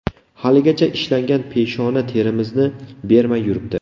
Haligacha ishlangan peshona terimizni bermay yuribdi.